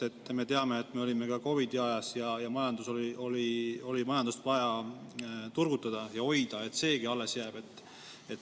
Me teame, et me olime COVID-i ajas ja majandust oli vaja turgutada ja hoida, et seegi alles jääb.